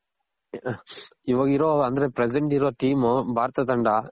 ಇವಾಗಿರೋ ಅಂದ್ರೆ present ಇರೋ team ಭಾರತ ತಂಡ